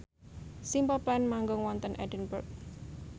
Simple Plan manggung wonten Edinburgh